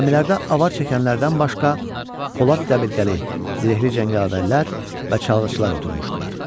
Gəmilərdə avar çəkənlərdən başqa Polad dəbilqəli, zirehli cəngavərlər və çalğıçılar oturmuşdular.